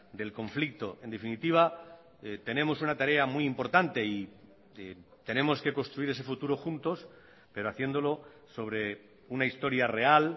del conflicto en definitiva tenemos una tarea muy importante y tenemos que construir ese futuro juntos pero haciéndolo sobre una historia real